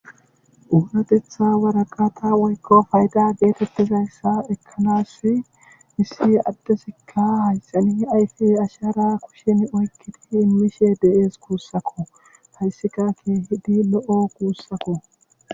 Onatetha waraqata woyko fayda getizaysa ekanas issi Adey asahara imishe de'es.